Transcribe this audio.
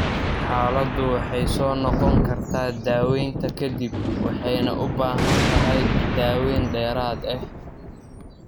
Xaaladdu waxay soo noqon kartaa daaweynta ka dib, waxayna u baahan tahay daaweyn dheeraad ah.